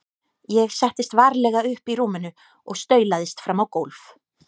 Ég settist varlega upp í rúminu og staulaðist fram á gólf.